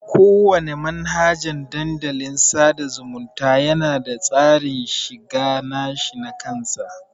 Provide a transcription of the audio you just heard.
Kowana manhajan Dandalin sada zumunta yana da tsarin shiga nashi nakan sa.